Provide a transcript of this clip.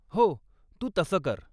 हो. तू तसं कर.